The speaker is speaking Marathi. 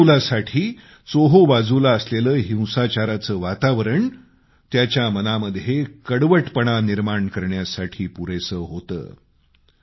एका लहानग्या मुलासाठी चोहोबाजूला असलेलं हिंसाचाराचं वातावरण त्याच्या मनामध्ये कडवटपणा निर्माण करण्यासाठी पुरेसं होतं